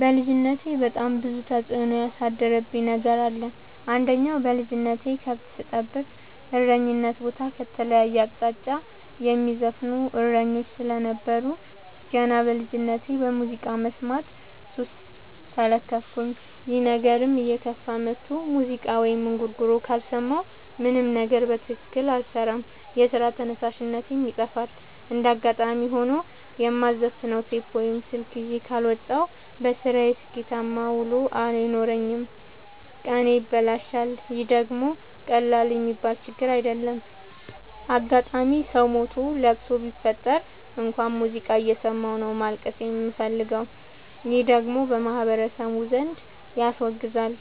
በልጅነቴ በጣም ብዙ ተጽዕኖ ያሳደረብኝ ነገር አለ። አንደኛ በልጅነቴ ከብት ስጠብቅ እረኝነት ቦታ ከተለያየ አቅጣጫ የሚዘፍኑ እሰኞች ስለነበሩ። ገና በልጅነቴ በሙዚቃ መስማት ሱስ ተለከፍኩኝ ይህ ነገርም እየከፋ መጥቶ ሙዚቃ ወይም እንጉርጉሮ ካልሰማሁ ምንም ነገር በትክክል አልሰራም የስራ ተነሳሽነቴ ይጠፋል። እንደጋጣሚ ሆኖ የማዘፍ ነው ቴፕ ወይም ስልክ ይዤ ካልወጣሁ። በስራዬ ስኬታማ ውሎ አይኖረኝም ቀኔ ይበላሻል ይህ ደግሞ ቀላል የሚባል ችግር አይደለም። አጋጣም ሰው ሞቶ ለቅሶ ቢፈጠር እንኳን ሙዚቃ እየሰማሁ ነው ማልቀስ የምፈልገው ይህ ደግሞ በማህበረሰቡ ዘንድ ያስወግዛል።